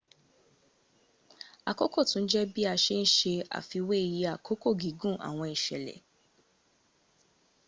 àkókò tún jẹ́ bi a se ń ṣe àfiwẹ́ iye àkókò gígùn àwọn ìsẹ̀lẹ̀